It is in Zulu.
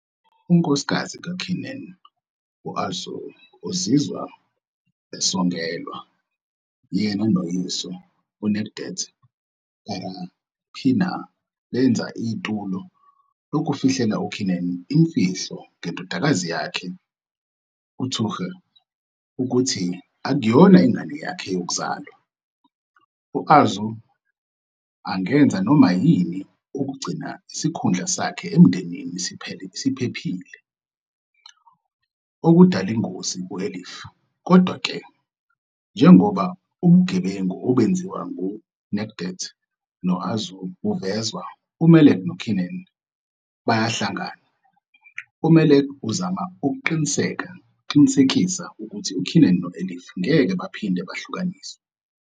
Unkosikazi kaKenan, u-Arzu, uzizwa esongelwa. Yena noyise, uNecdet Karapınar, benza itulo lokufihlela uKenan imfihlo ngendodakazi yakhe uTuğçe ukuthi akayona ingane yakhe yokuzalwa, u-Arzu angenza noma yini ukugcina isikhundla sakhe emndenini siphephile, okudala ingozi ku-Elif. Kodwa-ke, njengoba ubugebengu obenziwe nguNecdet no-Arzu buvezwa, uMelek noKenan bayahlangana. UMelek uzama ukuqinisekisa ukuthi uKenan no-Elif ngeke baphinde bahlukaniswe.